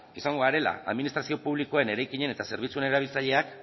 izango garela administrazio publikoen eraikinen eta zerbitzuen erabiltzaileak